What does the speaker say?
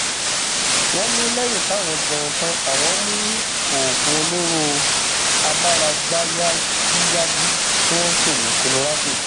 wọn ní lẹyìn táwọn jẹun tan àwọn mú oògùn olóró amáragbáyàgíyàgí tí wọn ń pè ní colorado